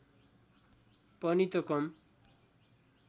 पनि त कम